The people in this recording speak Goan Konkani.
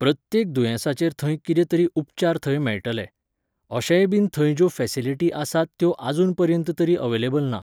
प्रत्येक दुयेंसांचेर थंय कितें तरी उपचार थंय मेळटले. अशेंय बीन थंय ज्यो फेसिलिटी आसात त्यो आजून पर्यंत तरी अवेलेबल ना